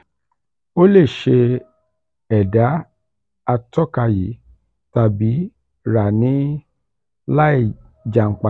o le ṣe ẹda atọka yii tabi ra ni laijanpata.